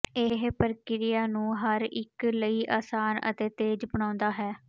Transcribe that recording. ਇਹ ਪ੍ਰਕਿਰਿਆ ਨੂੰ ਹਰ ਇਕ ਲਈ ਆਸਾਨ ਅਤੇ ਤੇਜ਼ ਬਣਾਉਂਦਾ ਹੈ